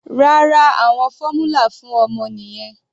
Rárá, àwọn fórmula fún ọmọ nìyẹn.